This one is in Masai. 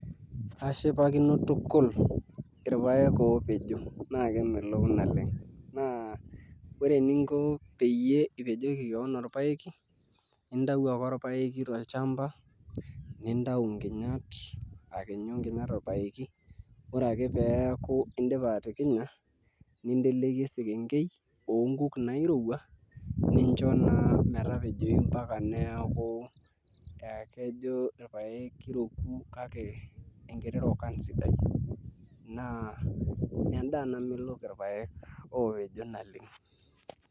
Ashipakino tukul irpaek oopejo naa kemelok oleng naa ore eninko peyie ipejoki kewon orpaeki intau ake orpaeki tolchamba nintau nkinyat akinyu nkinyat torpaeki Ore ake peeku indipa atikinya ninteleiki esekengei oonkuk nairwua nincho naa metapejoyu mpaka neeku ekejo irpaek kiroku kake enkiti rokan sidai naa endaa namelok irpaek oopejo naleng.